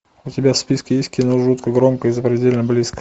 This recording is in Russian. у тебя в списке есть кино жутко громко и запредельно близко